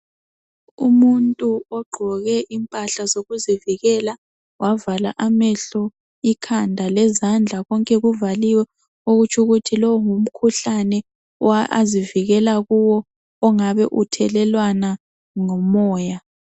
Umuntu ogqoke impahla zokuzivikela wavala amehlo, ikhanda lezandla. Konke kuvaliwe okutsho ukuthi lo ngumkhuhlane azivikela kuwo ongabe uthelelwana ngomoya.